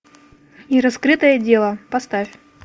нераскрытое дело поставь